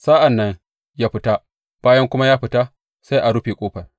Sa’an nan ya fita, bayan kuma ya fita, sai a rufe ƙofar.